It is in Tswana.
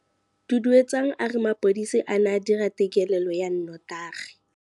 Duduetsang a re mapodisa a ne a dira têkêlêlô ya nnotagi.